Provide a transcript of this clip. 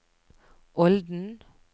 Olden